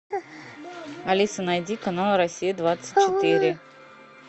алиса найди канал россия двадцать четыре